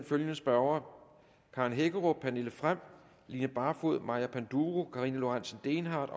følgende spørgere karen hækkerup pernille frahm line barfod maja panduro karina lorentzen dehnhardt